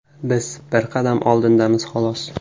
), biz bir qadam oldindamiz, xolos.